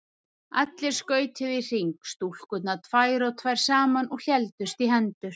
Allir skautuðu í hring, stúlkurnar tvær og tvær saman og héldust í hendur.